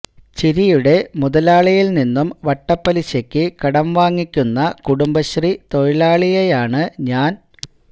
ചിരിയുടെ മുതലാളിയിൽ നിന്നും വട്ടപ്പലിശക്ക് കടം വാങ്ങിക്കുന്ന കുടുംബശ്രീ തൊഴിലാളിയെയാണ് ഞാൻ